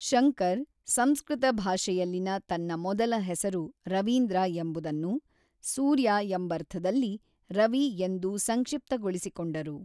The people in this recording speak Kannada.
ಶಂಕರ್, ಸಂಸ್ಕೃತ ಭಾಷೆಯಲ್ಲಿನ ತನ್ನ ಮೊದಲ ಹೆಸರು ರವೀಂದ್ರ ಎಂಬುದನ್ನು, "ಸೂರ್ಯ" ಎಂಬರ್ಥದಲ್ಲಿ ರವಿ ಎಂದು ಸಂಕ್ಷಿಪ್ತಗೊಳಿಸಿಕೊಂಡರು.